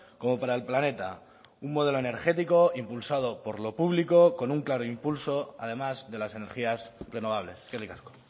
como para el planeta un modelo energético impulsado por lo público con un claro impulso además de las energías renovables eskerrik asko